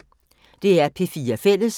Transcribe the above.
DR P4 Fælles